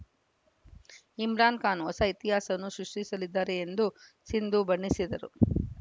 ಇಮ್ರಾನ್‌ ಖಾನ್‌ ಹೊಸ ಇತಿಹಾಸವನ್ನು ಸೃಷ್ಟಿಸಲಿದ್ದಾರೆ ಎಂದು ಸಿಂಧು ಬಣ್ಣಿಸಿದರು